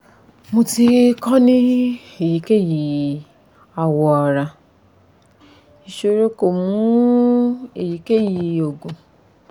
mo ti ko ni eyikeyi awọ ara isoro ko mu eyikeyi oogun